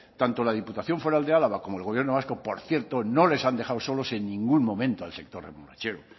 tanto la diputación foral de álava como el gobierno vasco por cierto no les han dejado solos en ningún momento al sector remolachero